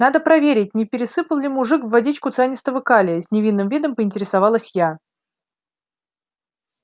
надо проверить не пересыпал ли мужик в водичку цианистого калия с невинным видом поинтересовалась я